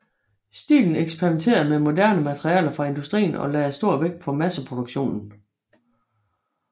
Stilen eksperimenterede med moderne materialer fra industrien og lagde stor vægt på masseproduktion